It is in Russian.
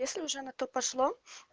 если уже на то пошло